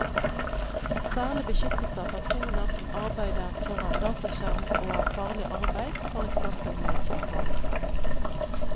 Særlig beskyttelse av personer som arbeider foran dataskjerm og av farlig arbeid, for eksempel med kjemikalier.